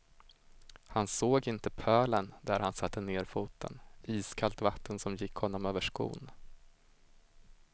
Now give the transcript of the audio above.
Han såg inte pölen där han satte ner foten, iskallt vatten som gick honom över skon.